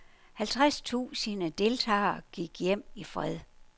Halvtreds tusinde deltagere gik hjem i fred.